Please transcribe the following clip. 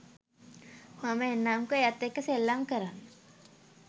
මම එන්නම්කො එයත් එක්ක සෙල්ලම් කරන්න.